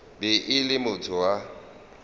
be e le motho wa